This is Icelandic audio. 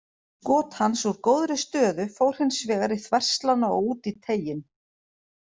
Skot hans úr góðri stöðu fór hins vegar í þverslánna og út í teiginn.